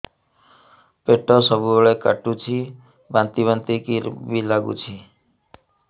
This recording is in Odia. ପେଟ ସବୁବେଳେ କାଟୁଚି ବାନ୍ତି ବାନ୍ତି ବି ଲାଗୁଛି